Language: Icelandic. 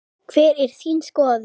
HVER ER ÞÍN SKOÐUN?